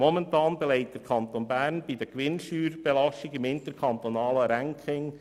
Momentan belegt der Kanton Bern im Ranking der Gewinnsteuerbelastung den 23. Rang.